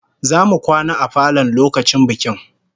Zamu kwana a falon lokacin bikin